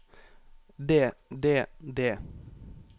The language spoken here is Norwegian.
det det det